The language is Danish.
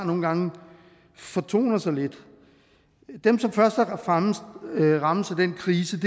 nogle gange fortoner sig lidt dem som først og fremmest rammes af den krise